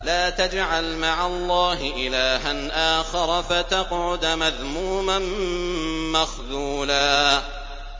لَّا تَجْعَلْ مَعَ اللَّهِ إِلَٰهًا آخَرَ فَتَقْعُدَ مَذْمُومًا مَّخْذُولًا